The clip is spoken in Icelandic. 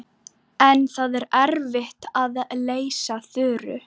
En það er erfitt að lýsa Þuru.